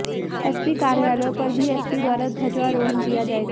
SP कार्यालय पर भी एसपी द्वारा ध्वजारोहण किया जाएगा